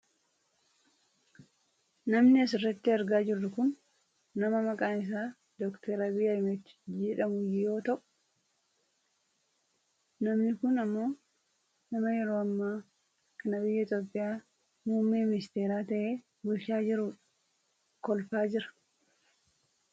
Namni asirratti argaa jirru kun nama maqaan isaa Dr Abiyyi Ahmedii jedhamu yoo ta'u, namni kun ammoo nama yeroo ammaa kana biyya Itoopiyaa muummee ministeera ta'ee bulchaa jiru dha. kolfaa jira.